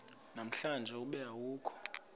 namhlanje ube awukho